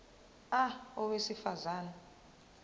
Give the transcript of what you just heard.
a owesifaz ane